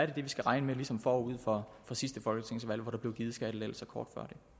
det vi skal regne med ligesom forud for sidste folketingsvalg hvor der blev givet skattelettelser kort